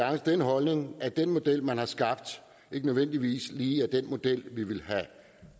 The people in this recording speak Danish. af den holdning at den model man har skabt ikke nødvendigvis lige er den model vi ville have